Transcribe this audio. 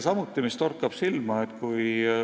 Ja mis veel silma torkab?